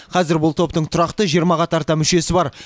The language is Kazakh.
қазір бұл топтың тұрақты жиырмаға тарта мүшесі бар